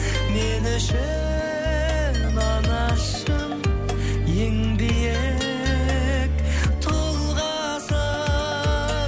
мен үшін анашым ең биік тұлғасың